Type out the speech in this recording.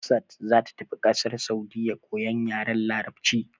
Hafsat za ta tafi kasar Saudiyya koyan yaren larabci.